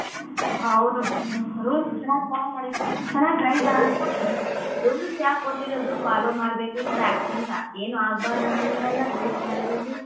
ಹೌದು rules ಯಾರ್ follow ಯಾಕೊಟ್ಟಿರೋದು follow ಮಾಡ್ಬೇಕು ಈತರ accident ಏನು ಆಗ್ಬಾರದಂತಲ್ಲ rules ಮಾಡಿರೋದು?.